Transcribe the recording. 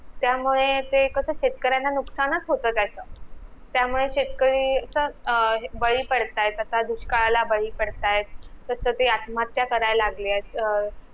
त्यामुळे ते कस शेतकऱ्यांना नुकसानच होत त्याच त्यामुळे शेतकरी अस बळी पडत्यात तसा दुष्काळाला बळी पडत्यात तस ते आत्महत्या करायला लागलेत अं